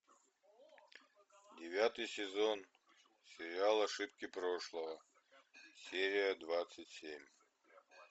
девятый сезон сериала ошибки прошлого серия двадцать семь